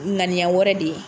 ŋaniya wɛrɛ de ye